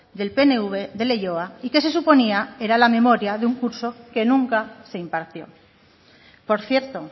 del pnv de leioa y que se suponía era la memoria de un curso que nunca se impartió por cierto